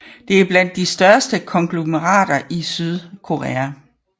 Det er blandt de største konglomerater i Sydkorea